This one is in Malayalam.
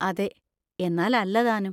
അതെ, എന്നാല്‍ അല്ല താനും.